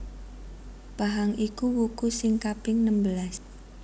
Pahang iku wuku sing kaping nembelas